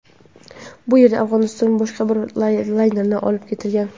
Bu yerdan Afg‘onistonga boshqa bir laynerda olib ketilgan.